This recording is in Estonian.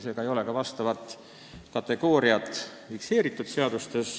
Seega ei ole ka seadustes vastavat kategooriat fikseeritud.